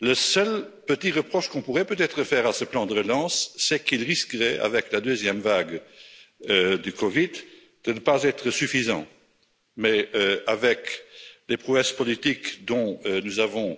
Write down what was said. Le seul petit reproche qu'on pourrait peut être faire à ce plan de relance, c'est qu'il risquerait, avec la deuxième vague de la COVID, de ne pas être suffisant. Mais, avec les prouesses politique dont nous avons